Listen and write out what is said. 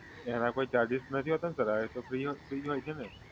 એના કોઈ ચાર્જિસ નથી હોતાને સર એ તો ફ્રી જ હોય છે ને?